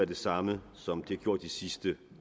det samme som det på de sidste